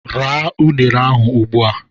Raa unere ahụ ugbu a!